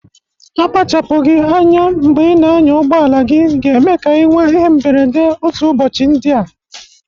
Akpachapụgị anya mbe ị na-anya ụgbọala gị ga-eme ka anyị nwe ihe mberede otu ụbọchị ndịa.